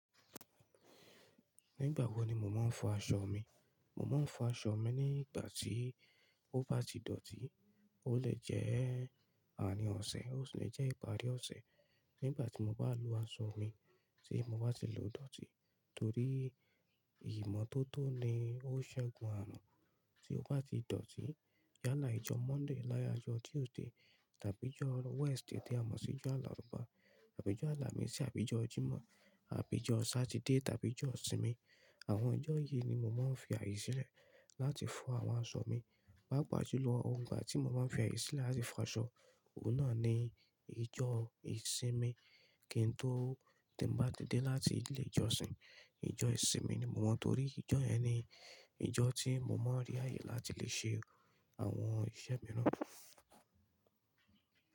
Nígbà wo ni mo máa ń fọ aṣọ mi? Mo máa ń fọ aṣọ mi ní ìgbà tí ó bá ti dọ̀tí. Ó lè jẹ́ àrín ọ̀sẹ̀, ó sì lè jẹ́ ìparí ọ̀sẹ̀. Nígbà tí mo bá lo aṣọ mi tí mo bá ti lò ó dọ̀tí torí ìmọ́tótó ni ó ṣẹ́gun ààrun. Tí ó bá ti dọ̀tí yálà ijọ́ Monday yálà ijọ́ Tuesday tàbí ijọ́ Wednesday tí a mọ̀ sí ijo àlaùfáà, tàbí ijọ́ àlàmísì, àbí ijọ́ Jimọ́, àbí ijọ́ Saturday tàbí ijọ́ ìsinmi. Àwọn ijọ́ yìí ni mo máa ń fi àye si lẹ̀ láti fọ àwọn aṣọ mi. Pá pà julo lọ, igba tí mo máa ń fi àìye silẹ̀ láti fọ aṣọ, òun náà ni ijọ́ ìsinmi. Kí n tó ti n bá ti dé láti ilé ìjọsìn, ijọ́ ìsinmi ni mo maa torí ijọ́ yẹn ni ijọ́ tí mo máa ń rí ààyè láti lè ṣe àwọn iṣẹ́ mìíràn.